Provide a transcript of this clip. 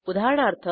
उदाहरणार्थ